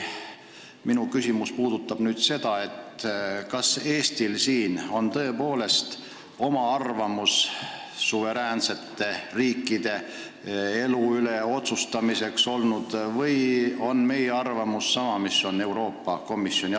Minu küsimus puudutab seda, kas Eestil on tõepoolest suveräänsete riikide elu üle otsustamisel oma arvamus olnud või on meie arvamus sama mis Euroopa Komisjonil.